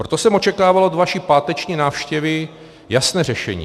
Proto jsem očekával od vaší páteční návštěvy jasné řešení.